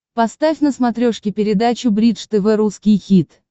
поставь на смотрешке передачу бридж тв русский хит